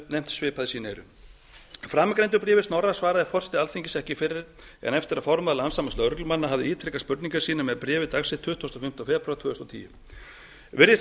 nefnt svipað í sín eyru framangreindu bréfi snorra svaraði forseti alþingis ekki fyrr en eftir að formaður landssambands lögreglumanna hafði ítrekað spurningar sínar með bréfi dagsettu tuttugasta og fimmta febrúar tvö þúsund og tíu virðist